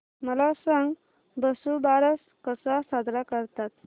मला सांग वसुबारस कसा साजरा करतात